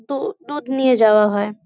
দু দুধ নিয়ে যাওয়া হয়।